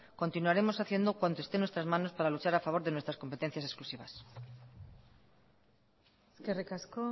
continuaremos haciendo cuanto esté en nuestras manos para luchar a favor de nuestras competencias exclusivas eskerrik asko